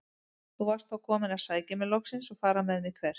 Þú varst þá kominn að sækja mig loksins og fara með mig- hvert?